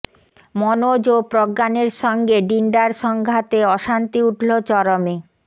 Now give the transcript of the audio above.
মনোজ ও প্রজ্ঞানের সঙ্গে ডিন্ডার সংঘাতে অশান্তি উঠল চরমে